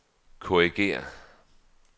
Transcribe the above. korrigér